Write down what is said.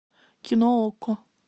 кино окко